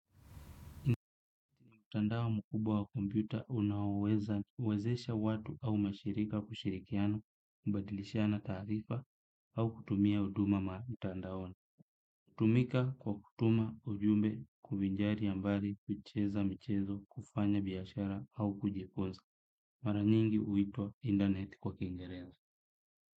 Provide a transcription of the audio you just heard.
Mtandao mkubwa unaowezesha watu au mashirika kushirikiana, kubadilishana taarifa au kutumia huduma mtandaoni. Hutumika kwa kutuma ujumbe kubinjari ya mbali kucheza mchezo kufanya biashara au kujifunza. Mara nyingi huitwa internet kwa kingereza.